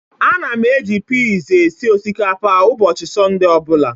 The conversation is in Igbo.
Ana m eji pee esi osikapa ụbọchị Sọnde ọ bụla.